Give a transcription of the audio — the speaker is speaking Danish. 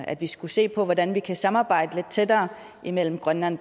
at vi skulle se på hvordan vi kan samarbejde lidt tættere mellem grønland